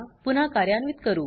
पुन्हा कार्यान्वित करू